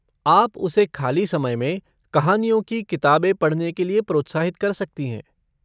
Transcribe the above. आप उसे खाली समय में कहानियों की किताबें पढ़ने के लिए प्रोत्साहित कर सकती हैं।